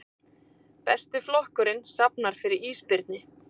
Besti flokkurinn safnar fyrir ísbirni